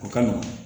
O kama